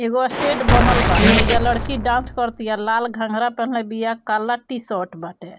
एगो स्टेज बनल बा। ऐजा लड़की डांस करतिया लाल घंगरा पेन्हले बिया काला टी-शर्ट बाटे।